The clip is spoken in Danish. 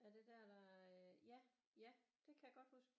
Er det der der ja ja det kan jeg godt huske